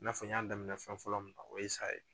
I n'a fɔ n y'a daminɛ fɛn fɔlɔ min na o ye sa ye.